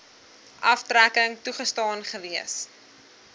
aftrekking toegestaan gewees